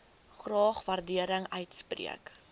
graag waardering uitspreek